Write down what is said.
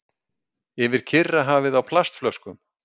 Yfir Kyrrahafið á plastflöskum